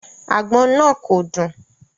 Agbon naa ko dun